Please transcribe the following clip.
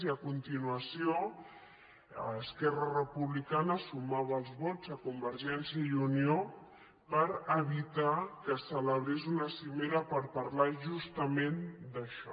i a continuació esquerra republicana sumava els vots a convergència i unió per evitar que es celebrés una cimera per parlar justament d’això